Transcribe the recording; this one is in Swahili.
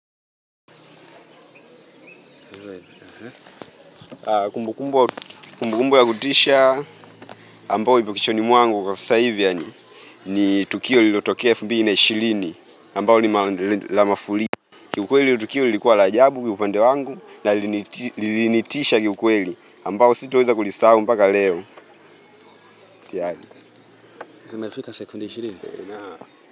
Kumbukumbu ya kutisha ambao iko kichwani mwangu kwa sasaa hivi yani ni tukio liotoke elfu mbili na ishilini ambao lima lina la mafuli ki ukweli Tukio likuwa la ajabu upande wangu na liniti linitisha kiukweli ambao sito weza kulisahu mpaka leo Kiyani zimefika sekunde ishilini naam.